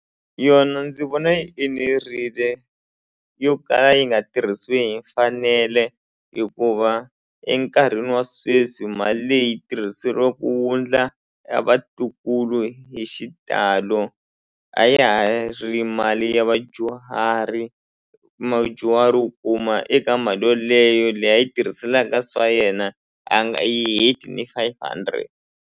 Yona ndzi vona yi enerile yo kala yi nga tirhisiwi hi mfanelo hikuva enkarhini wa sweswi mali leyi yi tirhiseriwa ku wundla a vatukulu hi xitalo a ya ha ri mali ya vadyuhari u kuma eka mali yoleyo leyi a yi tirhiselaka swa yena a nga yi heti ni five hundred.